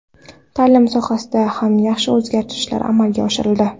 Ta’lim sohasida ham yaxshi o‘zgarishlar amalga oshirildi.